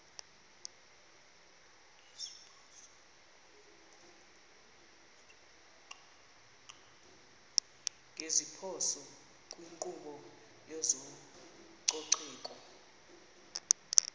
ngeziphoso kwinkqubo yezococeko